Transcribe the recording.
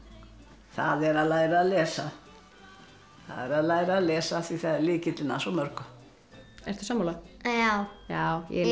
það er að læra að lesa það er að læra að lesa af því það er lykillinn að svo mörgu ertu sammála já